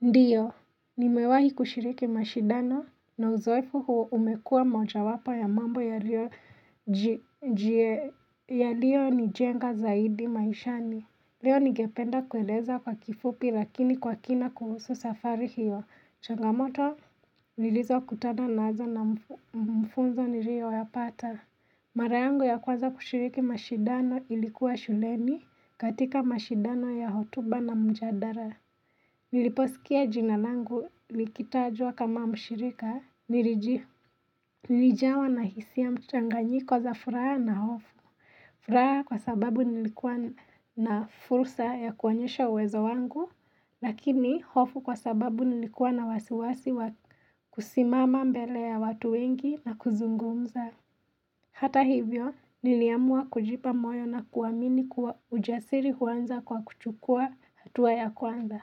Ndiyo, nimewahi kushiriki mashidano na uzoefu huo umekua moja wapo ya mambo yaliyo nijenga zaidi maishani. Leo nigependa kueleza kwa kifupi lakini kwa kina kuhusu safari hiyo. Changamoto nililizo kutana nazo na mfunzo niliyoyapata. Mara yangu ya kwaza kushiriki mashidano ilikuwa shuleni katika mashidano ya hotuba na mjadara. Niliposikia jina langu likitajwa kama mshirika, nilijawa na hisia mchanganyiko za furaha na hofu. Furaha kwa sababu nilikuwa na fursa ya kuonyesha uwezo wangu, lakini hofu kwa sababu nilikuwa na wasiwasi wa kusimama mbele ya watu wengi na kuzungumza. Hata hivyo, niliamua kujipa moyo na kuamini kuwa ujasiri uanza kwa kuchukua hatua ya kwanza.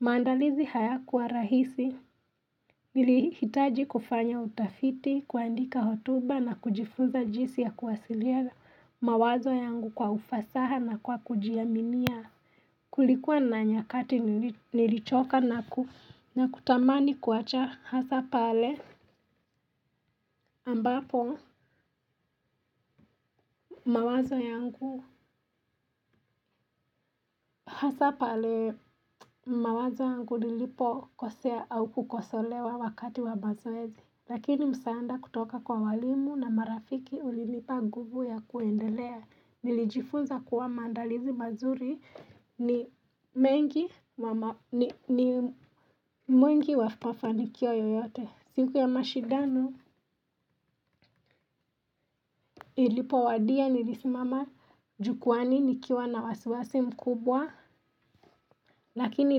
Maandalizi hayakuwa rahisi, nilihitaji kufanya utafiti, kuandika hotuba na kujifuza jinsi ya kuwasiliana mawazo yangu kwa ufasaha na kwa kujiaminia. Kulikuwa na nyakati nilichoka na kutamani kuacha hasa pale ambapo mawazo yangu hasa pale mawazo yangu lilipo kosea au kukosolewa wakati wa bazo ezi. Lakini msaanda kutoka kwa walimu na marafiki ulinipa nguvu ya kuendelea. Nilijifunza kuwa mandalizi mazuri ni mwengi wa mafanikio yoyote. Siku ya mashidano ilipo wadia nilisimama jukwaani nikiwa na wasiwasi mkubwa. Lakini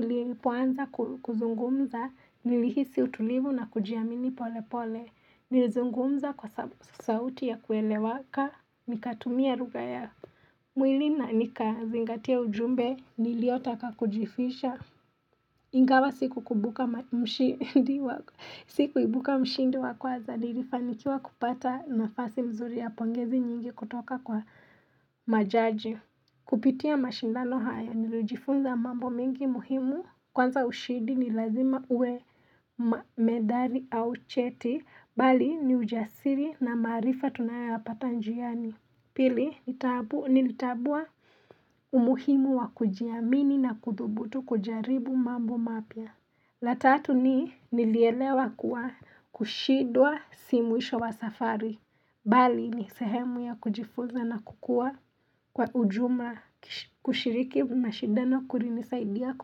nilipoanza kuzungumza nilihisi utulivu na kujiamini pole pole. Nilizungumza kwa sauti ya kuelewaka nikatumia ruga ya mwili na nikazingatia ujumbe niliotaka kujifisha ingawa sikukukumbuka kuibuka mshindi wakwanza nilifanikiwa kupata nafasi mzuri ya pongezi nyingi kutoka kwa majaji Kupitia mashindano hayo nilijifunza mambo mingi muhimu kwanza ushidi ni lazima ue medali au cheti bali ni ujasiri na marifa tunayapata njiani. Pili, nilitabua umuhimu wa kujiamini na kudhubutu kujaribu mambo mapya. La tatu ni nilielewa kuwa kushidwa si mwisho wa safari. Bali, ni sehemu ya kujifuza na kukua kwa ujuma kushiriki mashidano kurinisaidia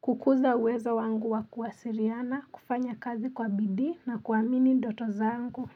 kukuza uwezo wangu wa kuwasiriana, kufanya kazi kwa bidii na kuamini doto zangu.